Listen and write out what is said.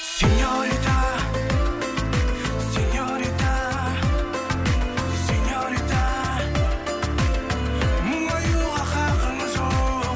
сеньорита сеньорита сеньорита мұңаюға хақың жоқ